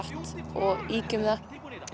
og ýkjum það